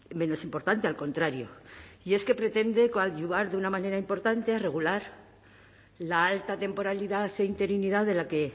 menos importante al contrario y es que pretende coadyuvar de una manera importante regular la alta temporalidad e interinidad de la que